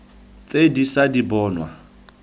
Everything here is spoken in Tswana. tse di ša di bonwa